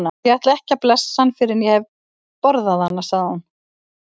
Ég ætla ekki að blessa hann fyrr en ég hef borðað hana, sagði hún.